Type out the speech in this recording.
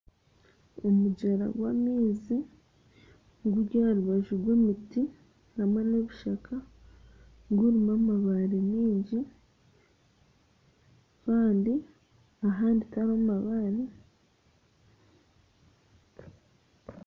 Omugyera gw'amaizi guri aharubaju rw'emiti hamwe nebishaka gurimu amabaare maingi kandi ahandi tihariho mabaare